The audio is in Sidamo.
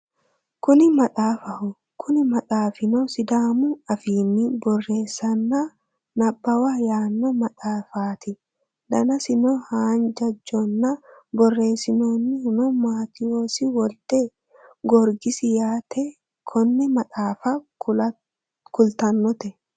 kuni maxaafaho kuni maxaafino sidaamu afiinni borreessanna nabbawa yaanno maxaafaati danasino haanjajonna borreessinohuno matewosi wolde gorgisiho yaate konne maxaafa kultannote